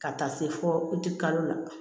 Ka taa se fɔ kalo la